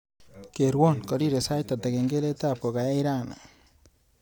Kerwo karirei sait ata kengeletab ngokache raini